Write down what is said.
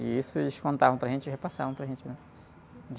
E isso eles contavam para a gente e repassavam para a gente, né?